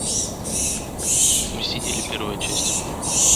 мы сидели первая часть